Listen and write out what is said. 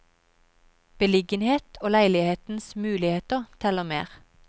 Beliggenhet og leilighetens muligheter, teller mer.